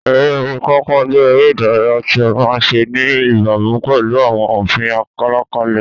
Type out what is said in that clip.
Eré orí pápá jẹ́ eré ìdárayá tí a máa ń ṣe ní ìbámu pẹ̀lú àwọn òfin àlàkalẹ̀.